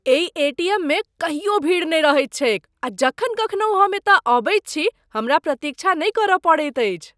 एहि एटीएममे कहियो भीड़ नहि रहैत छैक आ जखन कखनहु हम एतय अबैत छी हमरा प्रतीक्षा नहि करय पड़ैत अछि।